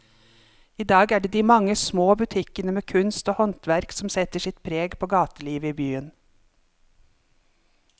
I dag er det de mange små butikkene med kunst og håndverk som setter sitt preg på gatelivet i byen.